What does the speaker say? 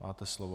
Máte slovo.